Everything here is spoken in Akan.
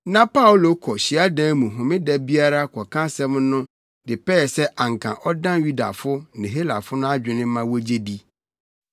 Na Paulo kɔ hyiadan mu homeda biara kɔka asɛm no de pɛɛ sɛ anka ɔdan Yudafo ne Helafo no adwene ma wogye di.